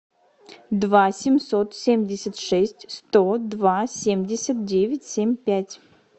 два семьсот семьдесят шесть сто два семьдесят девять семь пять